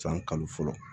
San kalo fɔlɔ